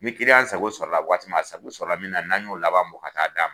Ni sago sɔrɔla waati min na, a sago sɔrɔ min na n'an y'o laban bɔ ka taa d'a ma.